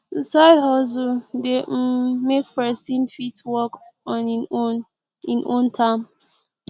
side hustle de um make persin fit work on in own in own terms